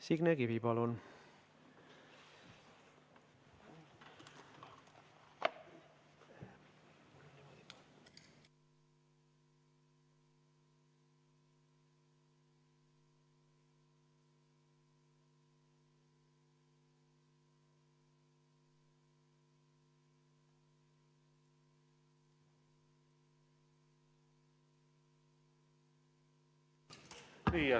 Signe Kivi, palun!